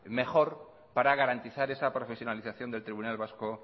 para garantizar esa profesionalización del tribunal vasco